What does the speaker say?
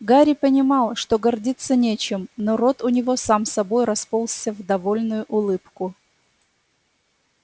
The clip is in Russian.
гарри понимал что гордиться нечем но рот у него сам собой расползся в довольную улыбку